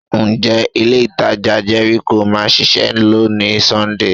Ǹjẹ́ ilé-ìtajà Jericho máa ṣíṣẹ́ lónìí Sọ́ńdè?